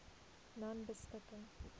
nonebeskikking